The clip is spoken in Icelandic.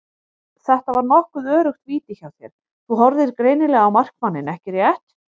Þetta var nokkuð öruggt víti hjá þér, þú horfðir greinilega á markmanninn ekki rétt?